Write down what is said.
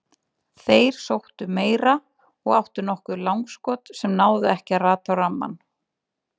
Þeir sóttu meira og áttu nokkur langskot sem náðu ekki að rata á rammann.